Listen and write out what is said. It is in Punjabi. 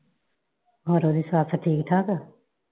ਹੋਰ ਉਹਦੀ ਸੱਸ ਠੀਕ ਠਾਕ?